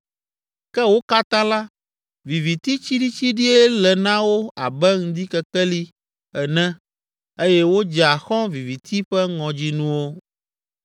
Ke wo katã la, viviti tsiɖitsiɖie le na wo abe ŋdikekeli ene eye wodzea xɔ̃ viviti ƒe ŋɔdzinuwo.